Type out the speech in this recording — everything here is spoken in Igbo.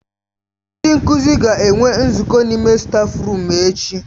Ndị nkuzi ga-enwe nzukọ n'ime stáfruum echi.